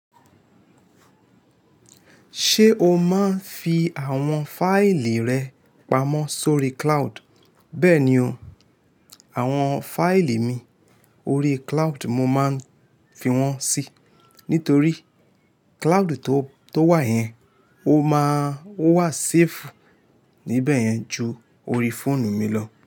Ṣé o máa ń fi àwọn fáìlì rẹ pamọ́ sórí cloud? Bẹ́ẹ̀ ni o, àwọn fáìlì mi orí cloud mo máa ń fi wọ́n sí, nítorí cloud tó to wà yẹn, ó máa n, o wà safe níbẹ̀ yẹn ju orí fóònù mi lọ.